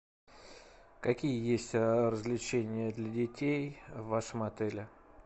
какие есть развлечения для детей в вашем отеле